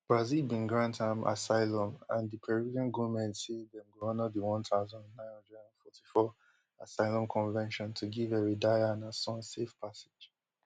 brazil bin grant am asylum and di peruvian goment say dem go honour di one thousand, nine hundred and fifty-four assylum convention to give heredia and her son safe passage